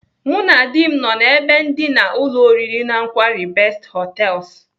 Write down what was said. Mụ na dị m nọ n'ebe ndina ụlọ oriri na nkwari Best Hotels.